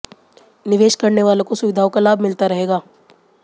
निवेश करने वालों को सुविधाओं का लाभ मिलता रहेगा